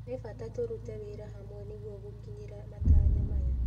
Nĩ bata tũrute wĩra hamwe nĩguo gũkinyĩra matanya maya.